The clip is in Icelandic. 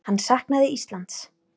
Hann saknaði Íslands.